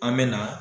An bɛ na